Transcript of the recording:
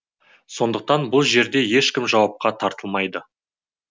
сондықтан бұл жерде ешкім жауапқа тартылмайды